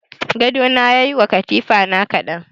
Gadona ya yi wa katifa na kaɗan.